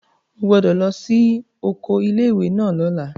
O gbọ́dọ̀ lọ sí oko ilé ìwé náà lọ́la!